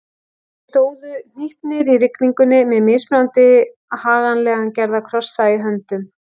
Þeir stóðu hnípnir í rigningunni með mismunandi haganlega gerða krossa í höndum.